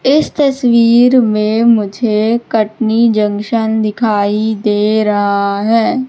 इस तस्वीर में मुझे कटनी जंक्शन दिखाई दे रहा है।